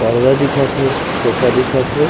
पर्दा दिखत हे सोफा दिखत हे।